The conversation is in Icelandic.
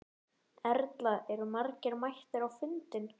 Erla, eru margir mættir á fundinn?